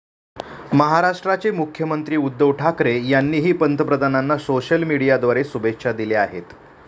महाराष्ट्राचे मुख्यमंत्री उद्धव ठाकरे यांनीही पंतप्रधानांना सोशल मीडियाद्वारे शुभेच्छा दिल्या आहेत.